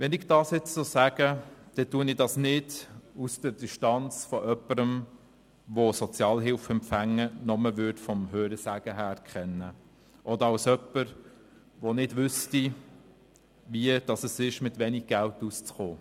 Wenn ich das nun so sage, dann tue ich das nicht aus der Distanz von jemandem, der Sozialhilfeempfänger nur vom Hörensagen kennt oder als jemand, der nicht weiss, wie es ist, mit wenig Geld auszukommen.